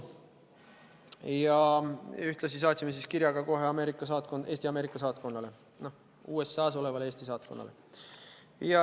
Ja ühtlasi saatsime kirja ka kohe Eesti Ameerika saatkonnale, USA-s olevale Eesti saatkonnale.